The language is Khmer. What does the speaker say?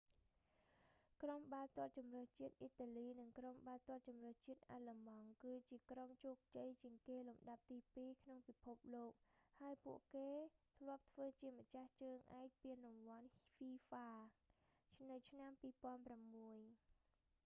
ក្រុមបាល់ទាត់ជម្រើសជាតិអ៊ីតាលី និងក្រុមបាល់ទាត់ជម្រើសជាតិអាឡឺម៉ង់ គឺជាក្រុមជោគជ័យជាងគេលំដាប់ទី ពីរ ក្នុងពិភពលោក ហើយពួកគេធ្លាប់ធ្វើជាម្ចាស់ជើងឯកពានរង្វាន់ហ្វ៊ីហ្វា fifa world cup នៅឆ្នាំ 2006